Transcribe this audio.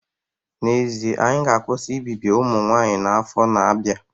N'ezie, anyị ga-akwụsị ibibi ụmụ nwanyị n'afọ na-abịa